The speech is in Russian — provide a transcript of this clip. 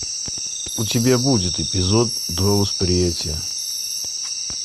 у тебя будет эпизод два восприятия